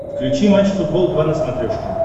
включи матч футбол два на смотрешке